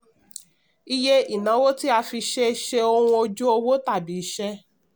iye: ìnáwó tí a fi ṣe ṣe ohun ojú owó tàbí iṣẹ́.